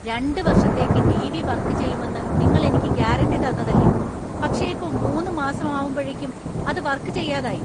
രണ്ട് വർഷത്തേക്ക് TV. Work ചെയ്യുമെന്ന് നിങ്ങൾ എനിക്ക് ഗ്യാരന്‍റി തന്നതല്ലേ പക്ഷെ ഇപ്പോ മൂന്ന് മാസം ആവുമ്പഴേക്കും അത് വർക് ചെയ്യാതെയായി.